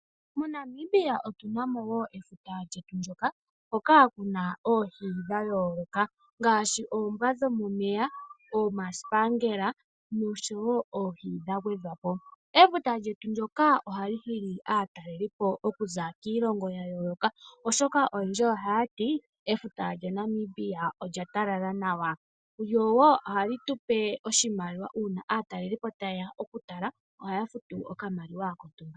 MoNamibia otuna mo efuta kyetu ndyoka lyina oohi dha yooloka ngaashi omasipangela, ookangulu niinamwenyo yimwe ya gwedhwa po ngaashi ombwa yomomeya. Efuta ohali nana aatalelipo okuza wiilongo ya yooloka oshoka oyendji ohaya ti efuta lyaNamibia olya talala nawa nohali eta iiyemo moshilongo oshoka aatalelipo sho ta yeya oyena okufuta.